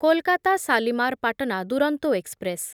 Kolkata Shalimar Patna Duronto express